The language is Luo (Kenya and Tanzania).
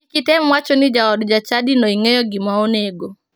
Kik item wacho ni jaod jachadino ing'eyo gima onego.